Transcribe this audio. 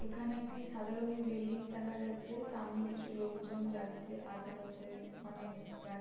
এখানে একটি সাদা রংয়ের বিল্ডিং দেখা যাচ্ছে-এ সামনে কিছু লোকজন যাচ্ছে আশেপাশে অনেক গাছ--